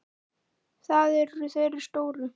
Það eru þeir stóru.